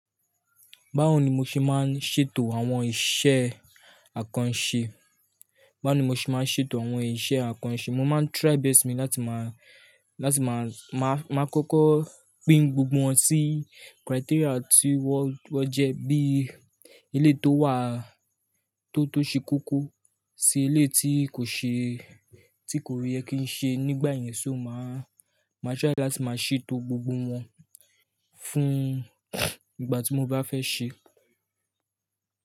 Báwo ni mo ṣe máa ń ṣètò àwọn iṣẹ́ àkànṣe? Báwo ni mo ṣe máa ń ṣètò àwọn iṣẹ́ àkànṣe? Mo máa ń try best mi láti máa, láti máa, máa, máa kọ́kọ́ pin gbogbo wọn sí criteria tí wọ́n, wọ́n jẹ́ bí eléyi tó wà tó, tó ṣe koko sí eléyi tí kò ṣe, tí kò yẹ kí í ṣe. Nígbà yẹn so máa, máa try láti máa ṣètò gbogbo wọn fún ìgbà tí mo bá fẹ́ ṣe.